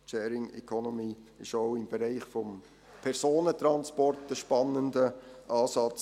Sharing Economy ist auch im Bereich des Personentransports ein spannender Ansatz.